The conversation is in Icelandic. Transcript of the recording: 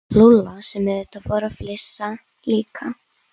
Lúlla sem auðvitað fór að flissa líka.